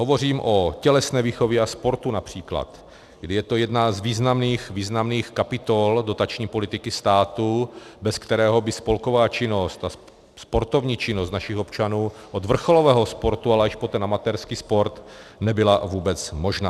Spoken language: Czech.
Hovořím o tělesné výchově a sportu například, kdy je to jedna z významných kapitol dotační politiky státu, bez kterého by spolková činnost a sportovní činnost našich občanů od vrcholového sportu, ale až po ten amatérský sport nebyla vůbec možná.